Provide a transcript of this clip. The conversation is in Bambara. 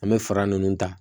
An bɛ fara ninnu ta